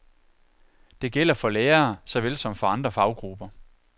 Det gælder for lærere såvel som for andre faggrupper.